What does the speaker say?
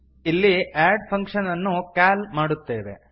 ಇಲ್ಲಿ add function ಅನ್ನು call ಮಾಡುತ್ತೇವೆ